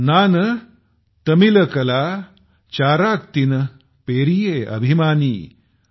नान तमिलकला चाराक्तिन पेरिये अभिमानी ।